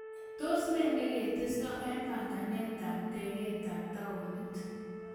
Tos ne ne ketesto en banganetab tegetab tawuniit?